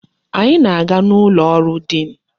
Anyị na-aga n'ụlọ ọrụ diin.